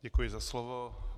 Děkuji za slovo.